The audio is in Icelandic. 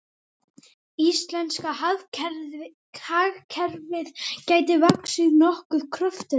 Íslenska hagkerfið gæti vaxið nokkuð kröftuglega